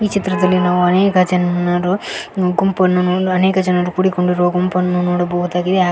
ಚಿತ್ರದಲ್ಲಿ ನಾವು ಅನೇಕ ಜನ್ನರು ಗುಂಪನ್ನು ನೋಡು ಅನೇಕ ಜನರು ಕೂಡಿಕೊಂಡಿರೊ ಗುಂಪನ್ನು ನೋಡಬಹುದಾಗಿದೆ ಹಾಗೆ--